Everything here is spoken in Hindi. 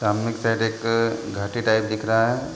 सामने के साइड एक अअअ घाटी टाइप दिख रहा है।